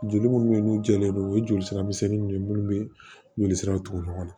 Joli munnu bɛ yen n'u jɛlen don u ye joli sira misɛnninw ye minnu bɛ joli siraw tugu ɲɔgɔn na